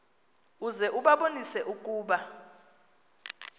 uze ubabonise ukuba